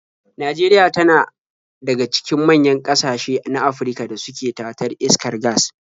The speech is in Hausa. Najeria tana daga cikin manyan ƙasashe na Afirka da suke tatar iskar gas.